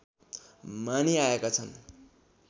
मानिआएका छन्